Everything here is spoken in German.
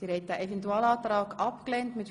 Sie haben den Eventualantrag abgelehnt..